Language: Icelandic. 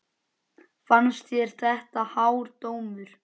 Fannst þér þetta hár dómur?